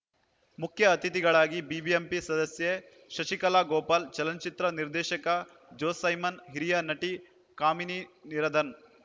ಮುಖ್ಯ ಅತಿಥಿಗಳಾಗಿ ಬಿಬಿಎಂಪಿ ಸದಸ್ಯೆ ಶಶಿಕಲಾ ಗೋಪಾಲ್ ಚಲನಚಿತ್ರ ನಿರ್ದೇಶಕ ಜೋಸೈಮನ್ ಹಿರಿಯ ನಟಿ ಕಾಮಿನೀರ್ಧ ನ್